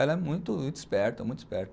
Ela é muito muito esperta, muito esperta.